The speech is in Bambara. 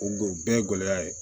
O don bɛɛ ye gɛlɛya ye